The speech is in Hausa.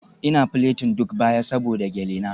Ina plating duk baya saboda gele na.